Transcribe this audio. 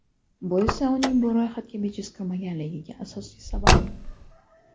Bu esa uning bu ro‘yxatga bejiz kirmaganligiga asosiy sabab.